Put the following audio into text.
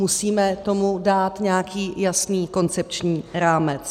Musíme tomu dát nějaký jasný koncepční rámec.